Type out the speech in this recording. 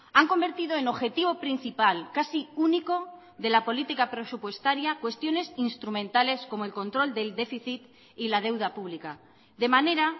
han convertido en objetivo principal casi único de la política presupuestaria cuestiones instrumentales como el control del déficit y la deuda pública de manera